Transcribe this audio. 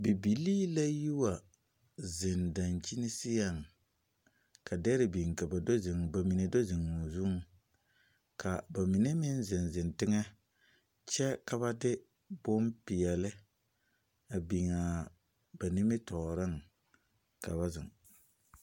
Bibilii la yi wa zeŋ daŋkyini seŋ, ka dɛre biŋ ka ba do zeŋ, ba mine do zeŋ o zuŋ ka ba mine meŋ zeŋ zeŋ teŋɛ kyɛka ba de bompeɛle a biŋ a ba nimitɔɔreŋ ka ba zeŋ.